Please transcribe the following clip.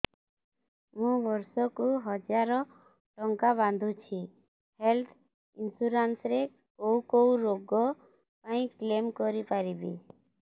ମୁଁ ବର୍ଷ କୁ ହଜାର ଟଙ୍କା ବାନ୍ଧୁଛି ହେଲ୍ଥ ଇନ୍ସୁରାନ୍ସ ରେ କୋଉ କୋଉ ରୋଗ ପାଇଁ କ୍ଳେମ କରିପାରିବି